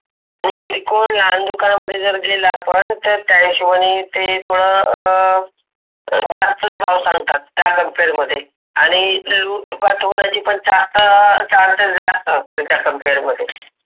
हे त्रिकोण आण दुकाना मध्ये जर गेला आपण त त्या हिशोबाने ते थोड अं अं जास्तच भाव सांगतात त्या कम्पेअर मधे. आन्ही इतल्या लोक पाठवण्याची पण अं चार्ज जास्तच असते त्या कम्पेअर मध्ये.